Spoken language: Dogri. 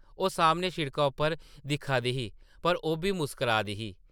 ओह् सामनै सिड़का उप्पर दिक्खा दी ही पर ओʼब्बी मुस्करा दी ही ।